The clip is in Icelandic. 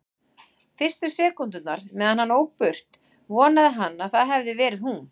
Fyrstu sekúndurnar meðan hann ók burt vonaði hann að það hefði verið hún.